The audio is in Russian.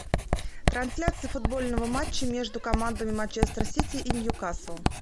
трансляция футбольного матча между командами манчестер сити и ньюкасл